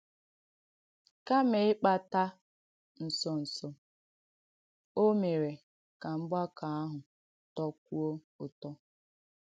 Kàmà ị̀kpàtà ǹsọ̀ǹsọ̀, ò mèèrè ka mgbàkọ̀ àhụ̄ tọ̀kwuò ùtọ̀.